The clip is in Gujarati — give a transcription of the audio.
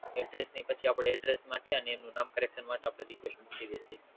Address ની પછી આપડે Address માટે અને એમનું નામ Carexon માટે મળી જશે